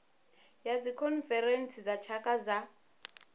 ya dzikhonferentsi dza tshaka dza